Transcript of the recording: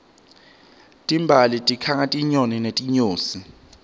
timbali tikhanga tinyoni netinyosi